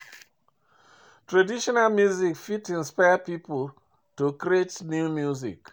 Traditional music fit inspire pipo to creation of new music